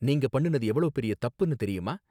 நீங்க பண்ணுனது எவ்ளோ பெரிய தப்புன்னு தெரியுமா?